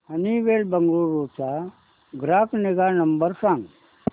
Honeywell Bengaluru चा ग्राहक निगा नंबर सांगा